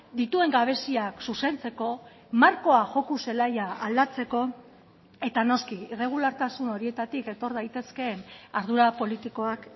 dituen gabeziak zuzentzeko markoa joko zelaia aldatzeko eta noski irregulartasun horietatik etor daitezkeen ardura politikoak